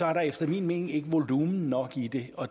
er der efter min mening ikke volumen nok i det